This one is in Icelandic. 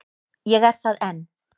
Ég er það enn.